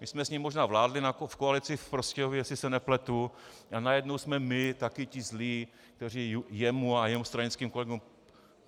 My jsme s ním možná vládli v koalici v Prostějově, jestli se nepletu, a najednou jsme my taky ti zlí, kteří jemu a jeho stranickým kolegům...